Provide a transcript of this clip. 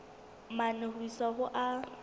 mane ho isa ho a